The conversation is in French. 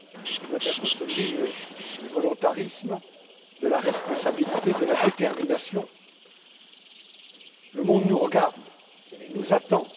Il doit être celui du volontarisme, de la responsabilité, de la détermination. Le monde nous regarde et nous attend.